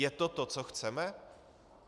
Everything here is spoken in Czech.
Je to to, co chceme?